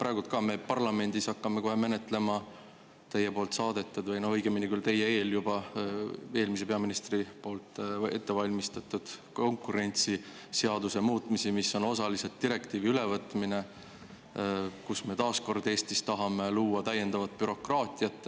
Praegu hakkame ka meie kohe parlamendis menetlema teie poolt saadetud või, õigemini küll, enne teid juba eelmise peaministri poolt ette valmistatud konkurentsiseaduse muutmisi, millega võtame osaliselt üle direktiivi ja millega me tahame taas kord luua Eestis täiendavat bürokraatiat.